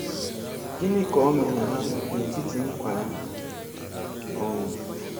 Gịnị ka o meere ha n’etiti nkwa ya um